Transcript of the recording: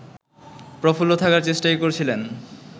প্রফুল্ল থাকার চেষ্টাই করছিলেন